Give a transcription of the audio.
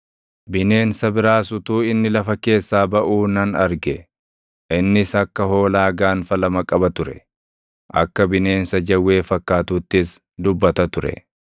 Bineensa biraas utuu inni lafa keessaa baʼuu nan arge. Innis akka hoolaa gaanfa lama qaba ture; akka bineensa jawwee fakkaatuuttis dubbata ture.